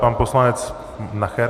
Pan poslanec Nacher.